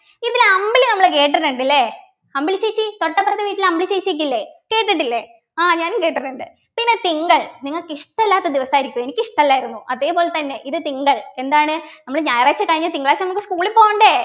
ഇതിൽ അമ്പിളി നമ്മൾ കേട്ടിട്ടുണ്ട് ല്ലേ അമ്പിളി ചേച്ചി തൊട്ടപ്പുറത്തെ വീട്ടിലെ അമ്പിളി ചേച്ചി ക്കെ ഇല്ലേ കേട്ടിട്ടില്ലേ ആഹ് ഞാനും കേട്ടിട്ടുണ്ട് പിന്നെ തിങ്കൾ നിങ്ങൾക്ക് ഇഷ്ടമല്ലാത്ത ദിവസം ആയിരിക്കും എനിക്ക് ഇഷ്ടമല്ലായിരുന്നു അതേപോലെതന്നെ ഇത് തിങ്കൾ എന്താണ് നമ്മൾ ഞായറാഴ്ച കഴിഞ്ഞ് തിങ്കളാഴ്ച നമ്മൾ school ൽ പോകണ്ടേ